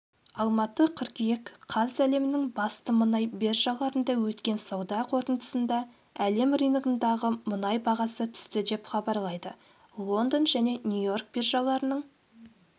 алматы қыркүйек қаз әлемнің басты мұнай биржаларында өткен сауда қортындысында әлем рыногындағы мұнай бағасы түсті деп хабарлайды лондон және нью-йорк биржаларының